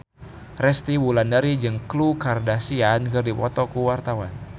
Resty Wulandari jeung Khloe Kardashian keur dipoto ku wartawan